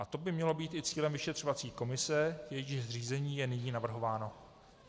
A to by mělo být i cílem vyšetřovací komise, jejíž zřízení je nyní navrhováno.